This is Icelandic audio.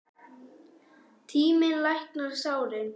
Tíminn læknar sárin.